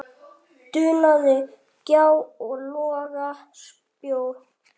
dunaði gjá og loga spjó.